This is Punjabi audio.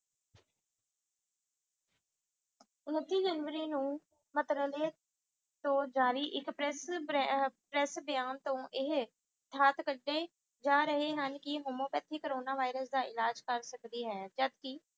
ਉਨੱਤੀ ਜਨਵਰੀ ਨੂੰ ਤੋਂ ਜਾਰੀ ਇੱਕ ਪ੍ਰੈਸ ਬਰੇ ਅਹ ਪ੍ਰੈਸ ਬਿਆਨ ਤੋਂ ਏਹੇ ਕਢੇ ਜਾ ਰਹੇ ਹਨ ਕਿ homeopathy ਕੋਰੋਨਾ virus ਦਾ ਇਲਾਜ ਕਰ ਸਕਦੀ ਹੈ ਜਦ ਕਿ